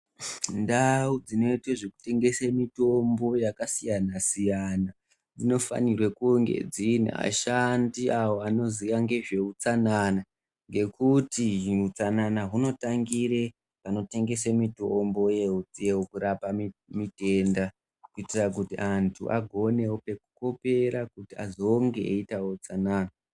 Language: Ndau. Ndau dzinoite zvekutengese mitombo yakasiyana siyana dzinofanirwe kunge dziine ashandi avo anoziya ngezveutsanana ngekuti utsanana hunotangire panotengese mitombo yekurapa mitenda kuitira kuti antu agonewo pekukopera kuti azonge eiitawo utsanana.